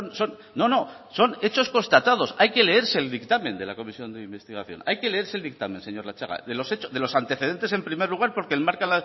son no no son hechos constatados hay que leerse el dictamen de la comisión de investigación hay que leerse el dictamen señor latxaga de los antecedentes en primer lugar porque enmarcan